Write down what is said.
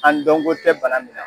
An dɔnko tɛ bana min na